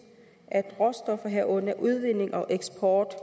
at råstoffer herunder udvinding og eksport